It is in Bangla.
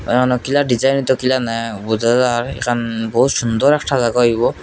তারানা কিরা ডিজায়িনিত কিরানা বোঝা যায় এখন বহুত সুন্দর একটা জাগা হইব।